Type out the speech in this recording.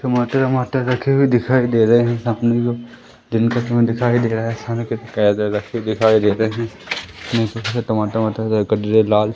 टमाटर वमाटर रखे हुए दिखाई दे रहे हैं सामने की ओर दिन का समय दिखाई दे रहा है सामने रखे दिखाई दे रहे हैं लाल--